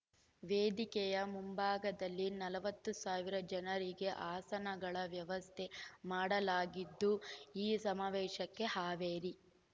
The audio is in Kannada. ವೇದಿಕೆಯ ಮುಂಭಾಗದಲ್ಲಿ ನಲವತ್ತು ಸಾವಿರ ಜನರಿಗೆ ಆಸನಗಳ ವ್ಯವಸ್ಥೆ ಮಾಡಲಾಗಿದ್ದು ಈ ಸಮಾವೇಶಕ್ಕೆ ಹಾವೇರಿ